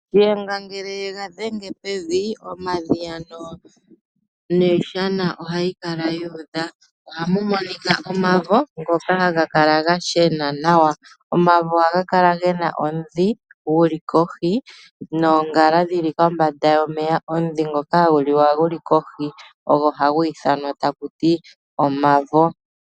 Shiyenga ngele ega dhenge pevi, omadhiya niishana ohayi kala yu udha. Ohamu monika omavo ngoka haga kala ga shena nawa. Omavo ohaga kala gena omudhi guli kohi noongala dhili kombanda yomeya. Omudhi ngoka hagu liwa guli kohi ogo hagu ithanwa takuti omavo.